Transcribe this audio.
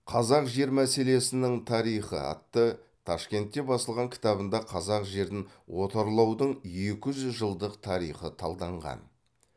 қазақ жер мәселесінің тарихы атты ташкентте басылған кітабында қазақ жерін отарлаудың екі жүз жылдық тарихы талданған